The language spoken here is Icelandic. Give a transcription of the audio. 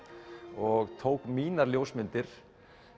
og tók mínar ljósmyndir